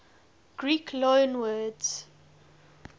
greek loanwords